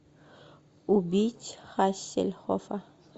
убить хассельхоффа